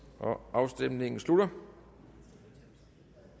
afstemningen slutter